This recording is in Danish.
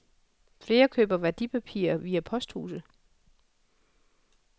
Flere køber værdipapirer via posthuse.